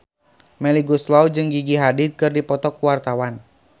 Melly Goeslaw jeung Gigi Hadid keur dipoto ku wartawan